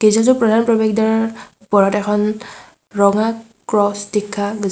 গীৰ্জাটোৰ প্ৰধান প্ৰৱেশদ্বাৰৰ ওপৰত এখন ৰঙা ক্ৰছ দেখা যা--